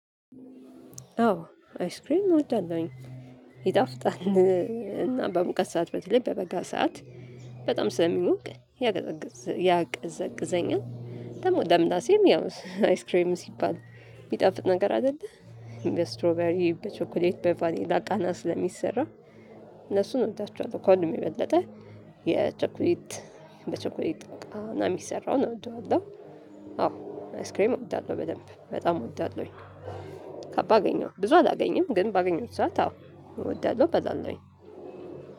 አዎ አይስክሬም እወዳለሁኝ። ይጣፍጣን እና በሙቀት ሰዓት በተለይ በበጋ ሰዓት በጣም ስለሚውቅ ያቀዘቅዘኛል። ደግሞ ለምላሴም ያው አይስክሬም ሲባል የሚጠፍጥ ነገር አይደለ። በስትሮበሪ በቾክሌት በቫኔላ ቃናስ ለሚሰራ እነሱን እወዳቸዋለሁ። ኮልን የበለጠ የቸኩሊት በቸኩሊት ቃና የሚሰራውን አወድዋለሁ። አዎ አይስክሬም አወድዳለሁ በደንብ በጣም አወዳለሁኝ። ከባድ አገኘሁ ብዙ አላገኘም ግን ባገኘሁት ሰዓት አዎ እወዳለሁ እገዛለሁኝ።